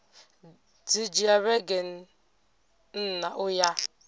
dzi dzhia vhege nṋa uya